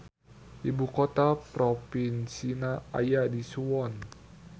Ibukota propinsina aya di Suwon.